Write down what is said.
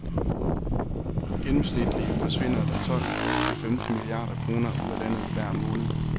Gennemsnitligt forsvinder der tolv til femten milliarder kroner ud af landet hver måned.